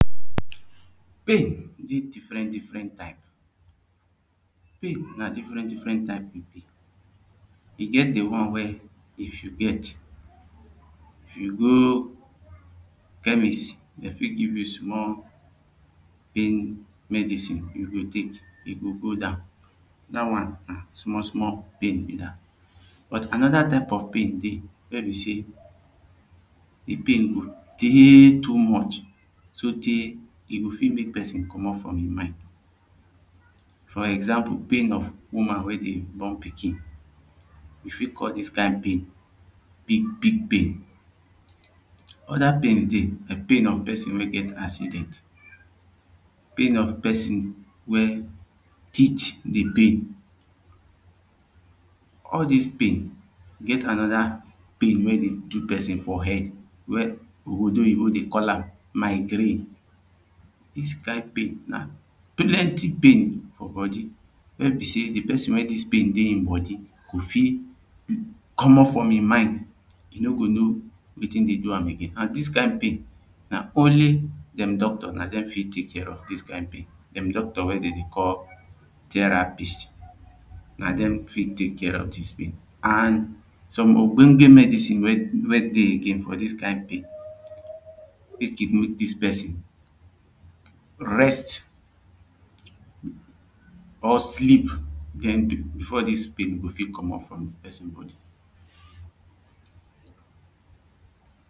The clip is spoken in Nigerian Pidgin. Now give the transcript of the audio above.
Pain dey different different type. Pain na different different type e be. E get di one wey if you get, if you go chemist, dem fit give you small pain medicine; you go take, e go go down. Dat one na small small pain be dat. But, another type of pain dey wey be say di pain go dey too much sotey e go fit make pesin comot from im mind. For example, pain of woman wey dey born pikin. We fit call dis kain pain "big big pain". Other pains dey, like pain of pesin wey get accident, pain of pesin wey teeth dey pain, all dis pain. E get another pain wey dey do pesin for head wey Odobo Oyibo dey call am "migraine". Dis kain pain na pain for body, wey be say di pesin wey dis pain dey im body go fit comot from im mind. You no go know wetin dey do am again. And did kain pain, na only dem doctor, na dem fit take care of dis kain pain. Dem doctor wey dem dey call "therapist". Na dem fit take care of dis pain. And some ogbonge medicine wey, wey dey again for dis kain pain. Make dem make dis pesin rest or sleep, then, before dis pain go fit comot from di pesin body.